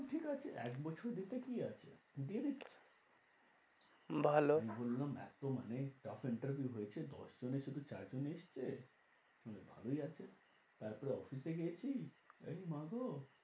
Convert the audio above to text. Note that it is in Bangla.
ঠিক আছে এক বছর কি আছে ভালো অত মানে tough interview হয়েছে মানে দশ জনের সাথে চার জন এসছে মানে ভালোই আছে তারপরে office এ গেছি আমি বলি মা গো।